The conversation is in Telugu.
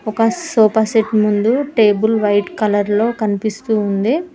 ఒక సోఫా సెట్ ముందు టేబుల్ వైట్ కలర్ లో కనిపిస్తుంది.